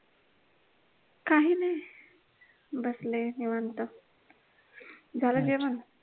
काही नाही बसले निवांत झालं जेवण?